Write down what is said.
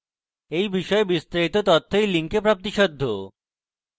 এই বিষয়ে বিস্তারিত তথ্য এই link প্রাপ্তিসাধ্য